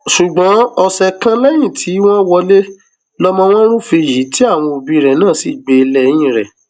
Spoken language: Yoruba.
ṣùgbọn ọsẹ kan lẹyìn tí wọn wọlé lọmọ wọn rúfin yìí tí àwọn òbí rẹ náà sì gbé lẹyìn rẹ